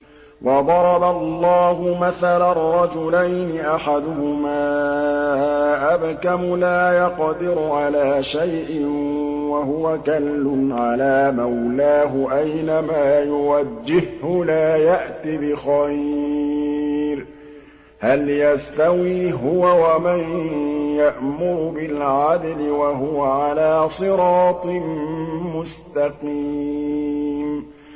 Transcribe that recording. وَضَرَبَ اللَّهُ مَثَلًا رَّجُلَيْنِ أَحَدُهُمَا أَبْكَمُ لَا يَقْدِرُ عَلَىٰ شَيْءٍ وَهُوَ كَلٌّ عَلَىٰ مَوْلَاهُ أَيْنَمَا يُوَجِّههُّ لَا يَأْتِ بِخَيْرٍ ۖ هَلْ يَسْتَوِي هُوَ وَمَن يَأْمُرُ بِالْعَدْلِ ۙ وَهُوَ عَلَىٰ صِرَاطٍ مُّسْتَقِيمٍ